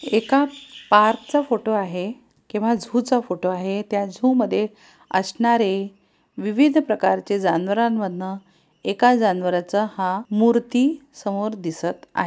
एका पार्क चा फोटो आहे किंवा जू चा फोटो आहे त्या झू मध्ये असणारे विविध प्रकारचे जानवरांन मधून एका जानवरचा हा मूर्ति समोर दिसत आहे.